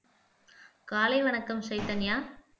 காலை வணக்கம் சைதன்யா